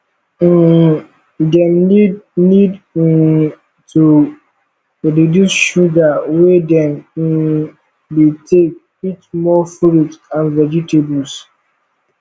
um dem need need um to reduce sugar wey dem um dey take eat more fruits and vegetables